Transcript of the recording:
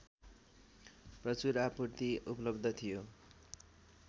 प्रचुर आपूर्ति उपलब्ध थियो